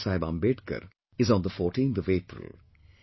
Baba Saheb Ambedkar is on the 14th of April